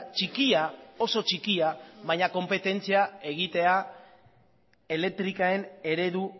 txikia oso txikia baina konpetentzia egitea elektriken eredu